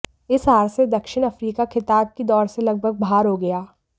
इस हार से दक्षिण अफ्रीका खिताब की दौड़ से लगभग बाहर हो गया